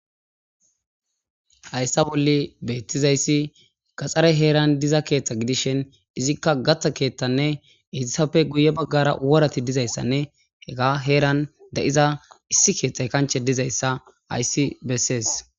hayssa bolle beettizayssi gaxxare heeran diza keeththa gidishen izikka gatha keeththanne etisafe guye baggara worati dizayssanne he ga heeran de7iza issi keeththay kanche dizayssa aysi bessees